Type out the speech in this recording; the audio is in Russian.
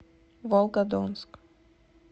волгодонск